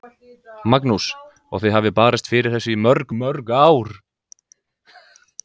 Magnús: Og þið hafið barist fyrir þessu í mörg, mörg ár?